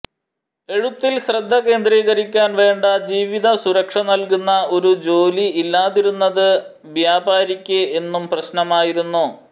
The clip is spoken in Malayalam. എഴുത്തിൽ ശ്രദ്ധ കേന്ദ്രീകരിക്കാൻ വേണ്ട ജീവിതസുരക്ഷ നൽകുന്ന ഒരു ജോലി ഇല്ലാതിരുന്നത് ബ്യാപാരിക്ക് എന്നും പ്രശ്നമായിരുന്നു